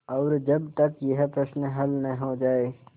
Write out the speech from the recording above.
और जब तक यह प्रश्न हल न हो जाय